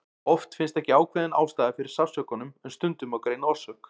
Oft finnst ekki ákveðin ástæða fyrir sársaukanum en stundum má greina orsök.